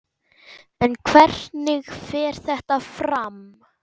En hvernig fer þetta fram?